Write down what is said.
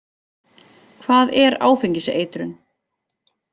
Hvað er áfengiseitrun?